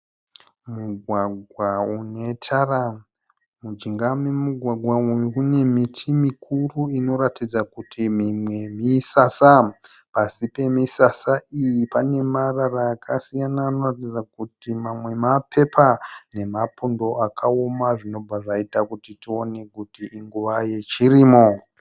Mugwagwa une tara. Mujinga memugwagwa uyu mune miti mikuru inoratidza kuti mimwe misasa. Pasi pemisasa iyi pane marara akasiyana anoratidza kuti mamwe mapepa nemapundo akaoma zvinobva zvaita kuti tione kuti inguva yechirimo.